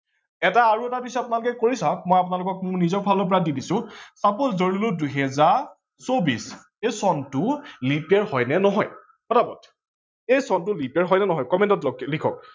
এটা আৰু এটা দিছো আপোনালোকে কৰি চাওক, মই মোৰ নিজৰ ফালৰ পৰা দি দিছো suppose ধৰিলো দুহেজাৰ চৌবিশ এই চনটো leap year হয় নে নহয় পতাপত, এই চনটো leap year হয় নে নহয় comment ত যাওক লিখক